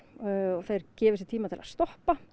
og þeir gefi sér tíma til að stoppa